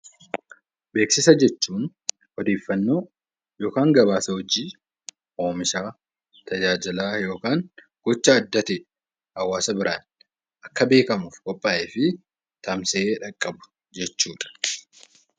Beeksisa jechuun odeeffannoo yookaan gabaasa hojii, oomishaa, tajaajilaa yookaan gocha adda ta'e hawaasa biraan akka beekamuuf qophaa'ee fi tamsa'ee qaqqabu jechuudha.